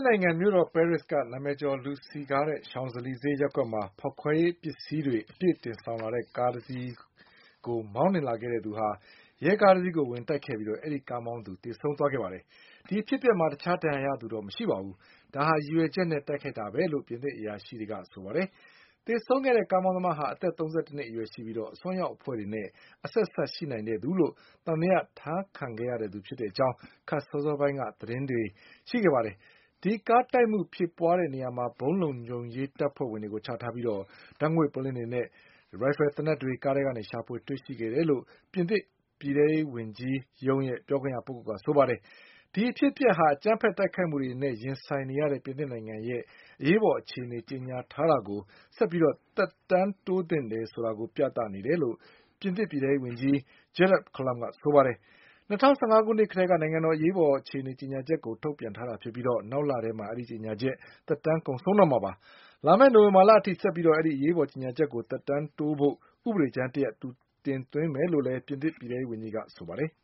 စ်နိုင်ငံမြို့တော်၊ ပဲရစ်က နာမည်ကျော် လူစည်ကားတဲ့ Champs Elysees ဈေးရပ်ကွက်မှာ ဖေါက်ခွဲရေးပစ္စည်းတွေအပြည့် တင်ဆောင်လာတဲ့ကားတစီးကို မောင်းလာခဲ့တဲ့သူဟာ ရဲကားတစီးကိုဝင်တိုက်ခဲ့ပြီး အဲဒီကားမောင်းသူသေဆုံးခဲ့ပါတယ်။ ဒီအဖြစ်အပျက်မှာ တခြားဒဏ်ရာရသူတော့မရှိပါဘူး။ ဒါဟာ ရည်ရွယ်ချက်နဲ့တိုက်ခိုက်တာပဲလို့ ပြင်သစ်အရာရှိတွေက ပြောပါတယ်။ သေဆုံးခဲ့တဲ့ ကားမောင်းသမားဟာ အသက် ၃၁နှစ်အရွယ်ရှိပြီး၊ အစွန်းရောက်အဖွဲ့တွေနဲ့အဆက်အစပ်ရှိ နိုင်တဲ့သူလို့သံသယထားခံခဲ့ရသူဖြစ်တဲ့အကြောင်း ခပ်စောစောပိုင်းက သတင်းတွေရှိခဲ့ပါတယ်။ အဲဒီကားတိုက်မှုဖြစ် ပွါးခဲ့တဲ့နေရာမှာ ဗုံးလုံခြုံရေးတပ်ဖွဲဝင်တွေချထားပြီး ဓါတ်ငွေ့ပုလင်းတွေနဲ့ သေနတ်တွေ ကားထဲကနေရှာဖွေတွေ့ရှိခဲ့တယ်လို့ ပြင် သစ် ပြည်ထဲရေးဝန် ကြီးရုံးပြောခွင့်ရပုဂ္ဂိုလ်က ဆိုပါတယ်။ ဒီအဖြစ်အပျက်ဟာ အကြမ်းဖက်တိုက်ခိုက်မှုတွေနဲ့ရင်ဆိုင်နေ ရတဲ့ ပြင်သစ်နိုင်ငံရဲ့ အရေးပေါ်အခြေအနေကြေညာထားတာကို ဆက်ပြီးသက်တမ်းတိုးသင့်တယ်ဆိုတာကို ပြသနေ တယ်လို့ ပြင်သစ်ပြည်ထဲရေးဝန်ကြီး Gerard Collomb ကပြောပါတယ်။ ၂၀၁၅ခုနှစ်ကတည်းက နိုင်ငံတော်အရေးပေါ် အခြေအနေကြေညာချက်ကို ထုတ်ပြန်ထားတာဖြစ်ပြီး နောက်လမှာ အဲဒီကြေညာချက် သက်တမ်းကုန်ဆုံးတော့မှာပါ။ လာမယ့်နိုဝင်ဘာလအထိ ဆက်ပြီးအရေးပေါ်ကြေညာချက်ကို သက်တမ်းတိုးဖို့ဥပဒေကြမ်းတရပ် သူတင်သွင်းမယ်လို့ လည်း ပြင်သစ်ပြည်ထဲရေး ဝန်ကြီးကပြောပါတယ်။